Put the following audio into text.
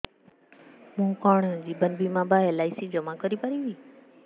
ମୁ କଣ ଜୀବନ ବୀମା ବା ଏଲ୍.ଆଇ.ସି ଜମା କରି ପାରିବି